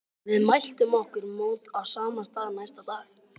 Við mæltum okkur mót á sama stað næsta dag.